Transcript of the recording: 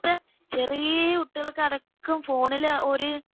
ഇപ്പത്തെ ചെറിയ കുട്ടികൾക്കടക്കം ഫോണില് ആ ഒരു